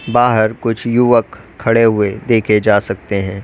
बाहर कुछ युवक खड़े हुए देखे जा सकते है।